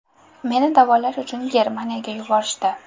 Meni davolash uchun Germaniyaga yuborishdi.